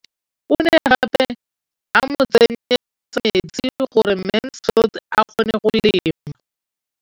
O ne gape a mo tsenyetsa metsi gore Mansfield a kgone go lema.